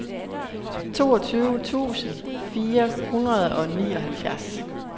toogtyve tusind fire hundrede og nioghalvfjerds